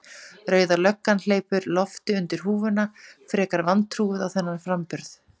Rauða löggan hleypir lofti undir húfuna, frekar vantrúuð á þennan framburð.